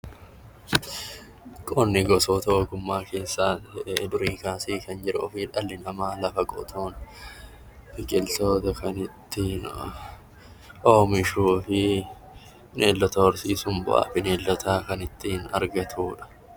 Qonni gosoota ogummaa keessaa durii kaasee kan jiruu fi dhalli namaa lafa qotuun biqiltoota kan ittiin oomishuu fi bineeldota horsiisuun bu'as bineeldotaa kan ittiin argatudha.